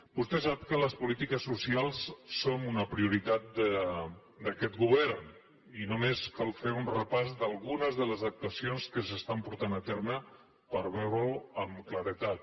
vostè sap que les polítiques socials són una prioritat d’aquest govern i només cal fer un repàs d’algunes de les actuacions que es porten a terme per veure ho amb claredat